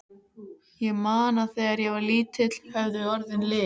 Ég man að þegar ég var lítill höfðu orðin lit.